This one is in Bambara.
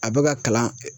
A bɛ ka kalan